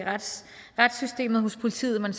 retssystemet og hos politiet men